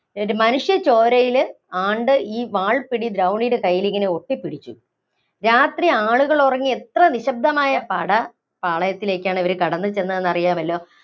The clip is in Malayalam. ഇവര് മനുഷ്യച്ചോരയില് ആണ്ട് ഈ വാള്‍പ്പിടി ദ്രൗണിയുടെ കൈയ്യില്‍ ഒട്ടിപ്പിടിച്ചു. രാത്രി ആളുകള്‍ ഉറങ്ങി എത്ര നിശ്ശബ്ദമായ പട പാളയത്തിലേക്കാണ് ഇവര്‍ കടന്നുചെന്നതെന്ന് അറിയാമല്ലോ.